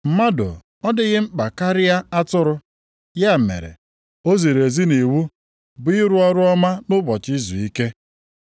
Mmadụ ọ dịghị mkpa karịa atụrụ? Ya mere, o ziri ezi nʼiwu bụ ịrụ ọrụ ọma nʼụbọchị izuike.”